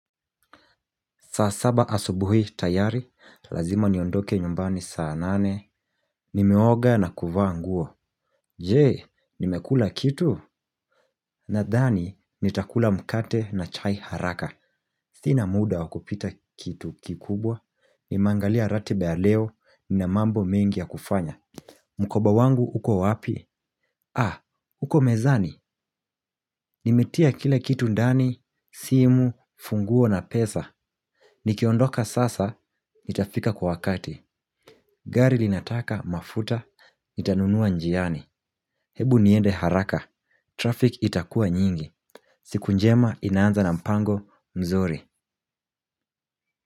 Saa saba asubuhi tayari, lazima niondoke nyumbani saa nane. Nimeoga na kuvaa nguo. Je, nimekula kitu. Nadhani, nitakula mkate na chai haraka. Sina muda wa kupita kitu kikubwa. Nimeangalia ratiba ya leo, nina mambo mengi ya kufanya. Mkoba wangu, uko wapi? Ah, uko mezani. Nimetia kila kitu ndani, simu, funguo na pesa. Nikiondoka sasa, nitafika kwa wakati. Gari linataka mafuta, nitanunua njiani. Hebu niende haraka, traffic itakuwa nyingi. Siku njema inaanza na mpango mzuri.